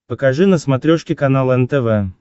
покажи на смотрешке канал нтв